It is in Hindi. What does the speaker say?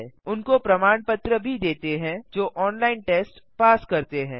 उनको प्रमाण पत्र भी देते हैं जो ऑनलाइन टेस्ट पास करते हैं